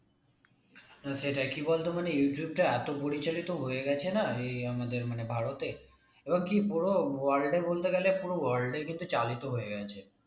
সেটাই কি বলতো মানে ইউটিউব টা এত প্রচলিত হয়ে গেছে না এই আমাদের মানে ভারতে এবার কি পুরো world এ বলতে গেলে পুরো world এ কিন্তু চালিত হয়ে গেছে